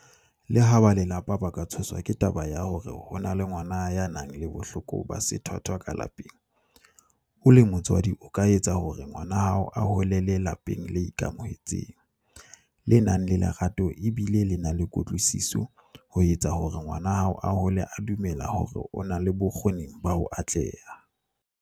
Leha ba lelapa ba ka tshoswa ke taba ya hore ho na le ngwana ya nang le bohloko ba sethwathwa ka lapeng, o le motswadi o ka etsa hore ngwana wa hao a holele lapeng le ikamohetseng, le nang le lerato e bile le na le kutlwisiso ho etsa hore ngwana hao a hole a dumela hore o na le bokgo-ning ba ho atleha.